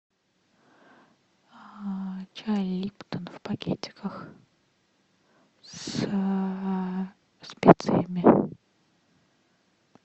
чай липтон в пакетиках со специями